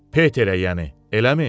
Peterə, yəni, eləmi?